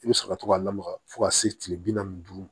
I bɛ sɔrɔ ka to ka lamaga fo ka se kile bi naani ni duuru